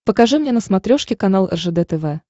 покажи мне на смотрешке канал ржд тв